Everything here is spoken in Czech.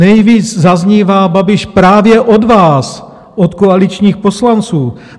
Nejvíc zaznívá Babiš právě od vás, od koaličních poslanců.